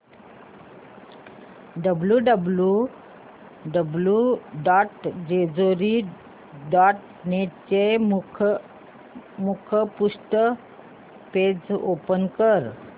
W W W dot Jejuri dot net चे मुखपृष्ठ page open कर